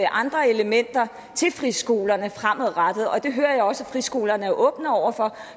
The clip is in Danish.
andre elementer i til friskolerne fremadrettet det hører jeg også at friskolerne er åbne over for